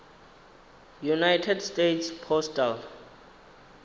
united states postal